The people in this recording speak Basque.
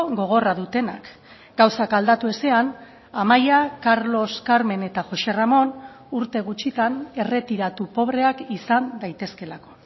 gogorra dutenak gauzak aldatu ezean amaia carlos carmen eta josé ramón urte gutxitan erretiratu pobreak izan daitezkeelako